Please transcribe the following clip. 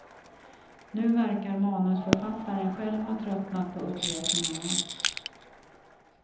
Nu verkar manusförfattaren själv ha tröttnat på upprepningarna.